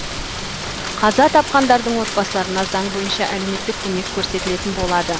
қаза тапқандардың отбасыларына заң бойынша әлеуметтік көмек көрсетілетін болады